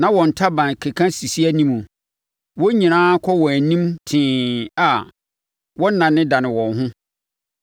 na wɔn ntaban keka sisi anim. Wɔn nyinaa kɔ wɔn anim tee a wɔnnanedane wɔn ho.